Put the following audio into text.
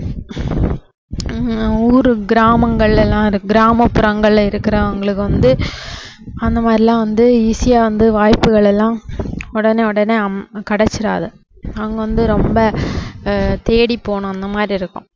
ஹம் ஊரு கிராமங்கள்ல எல்லாம் கிராமப்புறங்கள்ல இருக்குறவங்களுக்கு வந்து அந்த மாதிரி எல்லாம் வந்து easy ஆ வந்து வாய்ப்புகள் எல்லாம் உடனே உடனே அம~ கிடைச்சுடாது அவங்க வந்து ரொம்ப ஹம் தேடி போகணும் அந்த மாதிரி இருக்கும்